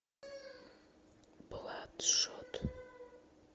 бладшот